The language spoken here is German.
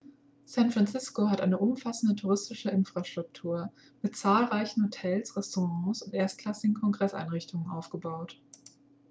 san francisco hat eine umfassende touristische infrastruktur mit zahlreichen hotels restaurants und erstklassigen kongresseinrichtungen aufgebaut